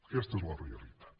aquesta és la realitat